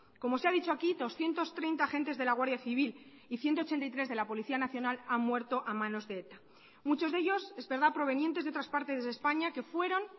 como se ha dicho aquí doscientos treinta agentes de la guardia civil y ciento ochenta y tres de la policía nacional han muerto a manos de eta muchos de ellos es verdad provenientes de otras partes de españa que fueron